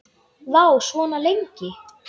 Vá, svona lengi?